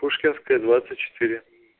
пушкинская двадцать четыре